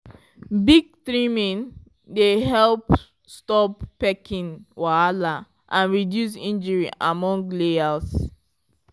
beak trimming dey help stop pecking wahala and reduce injury among layers.